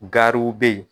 Gariww be yen